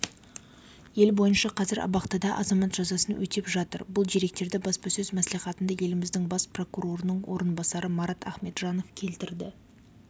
ел бойынша қазір абақтыда азамат жазасын өтеп жатыр бұл деректерді баспасөз мәслихатында еліміздің бас прокурорының орынбасары марат ахметжанов келтірді